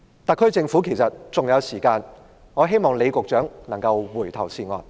特區政府其實還有時間，我希望李局長能夠回頭是岸。